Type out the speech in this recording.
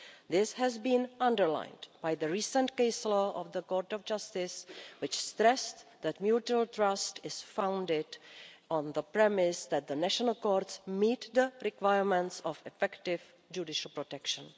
This has been underlined by the recent case law of the Court of Justice, which stressed that mutual trust is founded on the premise that the national courts meet the requirements of effective judicial protection.